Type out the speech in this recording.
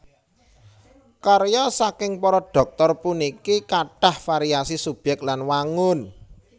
Karya saking para Dhoktor puniki kathah variasi subyèk lan wangun